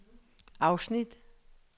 afsnit